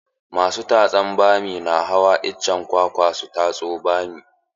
Masu tatsan bami na hawa icen kwakwa su tatso bammi.